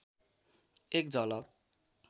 एक झलक